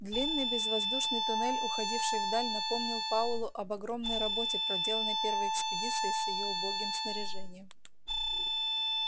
длинный безвоздушный туннель уходивший вдаль напомнил пауэллу об огромной работе проделанной первой экспедицией с её убогим снаряжением